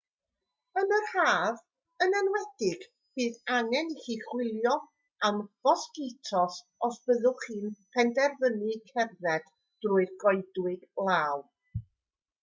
yn yr haf yn enwedig bydd angen i chi wylio am fosgitos os byddwch chi'n penderfynu cerdded trwy'r goedwig law